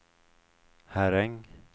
Herräng